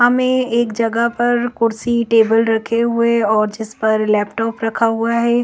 हमे एक जगह पर कुर्सी टेबल रखे हुए और जिस पर लैपटॉप रखा हुआ है।